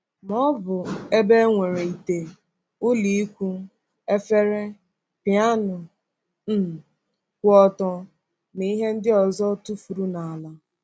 Ma ọ bụ ebe e nwere ite, ụlọikwuu, efere, piánu um kwụ ọtọ, na ihe ndị ọzọ tụfuru n’ala.